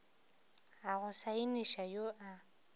a go saeniša yo a